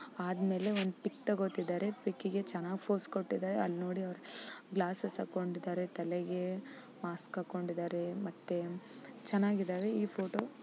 ಆದ್ಮೇಲೆ ಒಂದು ಪಿಕ್ ತಗೋತಿದ್ದರೆ ಪಿಕಗೆ ಚೆನ್ನಾಗಿ ಪೋಸ್ ಕೊಟ್ಟಿದಾರೆ. ಅಲ್ನೋಡಿ ಅವರು ಗ್ಲಾಸ್ಸ್ಸ್ ಹಾಕೊಂಡಿದರೆ ತಲೆಗೆ ಮಾಸ್ಕ ಹಾಕೊಂಡಿದರೆ ಮತ್ತೆ ಚೆನಾಗಿದ್ದವೇ ಈ ಫೋಟೋ --